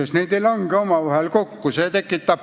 Need tähendused ei lange omavahel kokku.